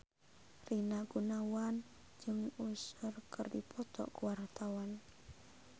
Rina Gunawan jeung Usher keur dipoto ku wartawan